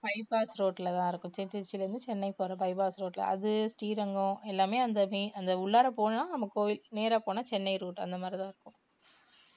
bypass road ல தான் இருக்கும் திருச்சில இருந்து சென்னை போற bypass road ல அது ஸ்ரீரங்கம் எல்லாமே அந்த main உள்ளாற போனா நம்ம கோவில் நேர போனா சென்னை route அந்த மாதிரிதான் இருக்கும்